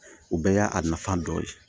O bɛɛ y'a nafa dɔ ye